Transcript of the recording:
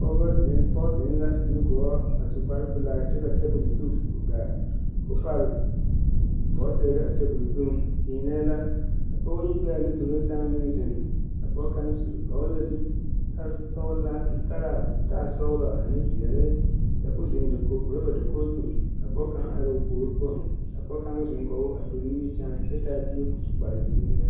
Pɔge ziŋ la nu gɔɔ a su kpare pilaa ka tabol zu gaa koo pare bɔgsire a tabol zuiŋ teenɛɛ la ka pɔgeba yi be a puoriŋ a pɔge kaŋa vɔgle la zupile koo taa sɔglɔ zutalaa koo taa peɛle kyɛ ko ziŋ dakoge rɔba dakoge zu ka pɔge kaŋ are o puori poɔŋ kaŋ ziŋ kɔge o a pere nimikyaane kyɛ taa bie ko su kpare zeɛ.